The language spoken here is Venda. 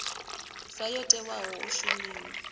sa yo tewaho u shumiwa